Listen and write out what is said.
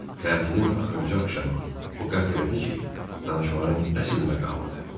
tətilin axırıncı axşamı o qət elədi ki, danışmağın əsl məqamıdır.